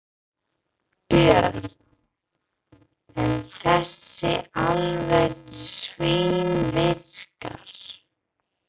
Björn: En þessi alveg svínvirkar?